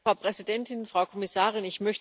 Frau Präsidentin, Frau Kommissarin!